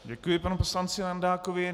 Děkuji panu poslanci Jandákovi.